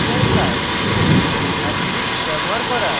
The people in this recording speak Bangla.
এস্টেরিস্ক ব্যবহার করা